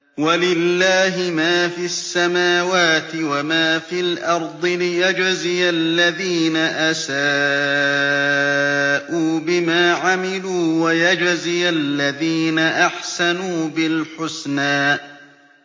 وَلِلَّهِ مَا فِي السَّمَاوَاتِ وَمَا فِي الْأَرْضِ لِيَجْزِيَ الَّذِينَ أَسَاءُوا بِمَا عَمِلُوا وَيَجْزِيَ الَّذِينَ أَحْسَنُوا بِالْحُسْنَى